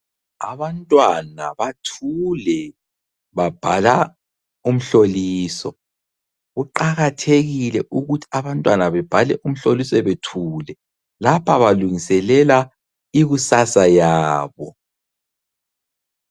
Abantwana bathule babhala umhloliso, kuqakathekile ukuthi abantwana bebhale umhloliso bethule lapha balungiselela ikusasa yabo.